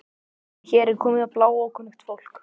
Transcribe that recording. En hér er komið bláókunnugt fólk.